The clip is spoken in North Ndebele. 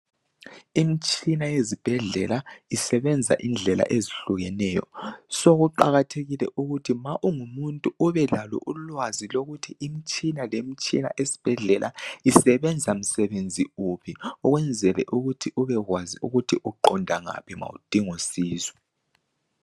Imitshina yezibhedlela isebenza indlela ezihlukeneyo kuqakathekile ukuthi ma ungumuntu ubelalo ulwazi ukuthi imitshina lemitshina esibhedlela isebenza msebenzi uphi ukwenzela ukuthi ubekwazi ukuthi uqonda ngaphi nxa udinga usizo.